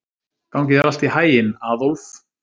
Gangi þér allt í haginn, Aðólf.